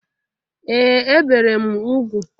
Ee! Ebere m ugwu.